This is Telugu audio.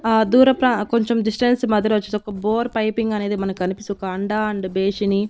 ఆ దూర ప్రా కొంచెం డిస్టెన్స్ మధ్యలో వచ్చేసి ఒక బోర్ పైపింగ్ అనేది మనకు కనిపిస్తుంది ఒక అండ ఒక బేషిని.